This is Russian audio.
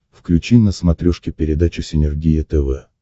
включи на смотрешке передачу синергия тв